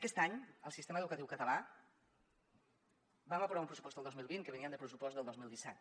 aquest any al sistema educatiu català vam aprovar un pressupost el dos mil vint que venia del pressupost del dos mil disset